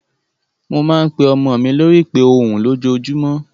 Mo máa ń pe ọmọ mi lórí ìpè ohùn lójoojúmọ́.